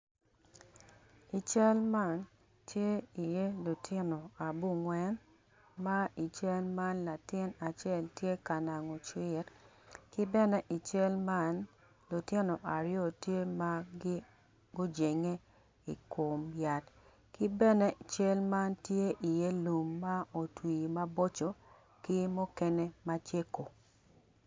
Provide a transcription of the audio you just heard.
I cal man tye iye lutino abongwen ma i cal man latin acel tye ka nago cwit ki bene ical man lutino aryo gitye ma gujenge i kom yat ki bene i cal man tye lum ma otwi maboco ki mukene macego.